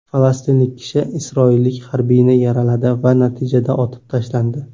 Falastinlik kishi isroillik harbiyni yaraladi va natijada otib tashlandi.